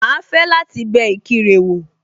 Màá fẹ́ láti bẹ Ìkirè wò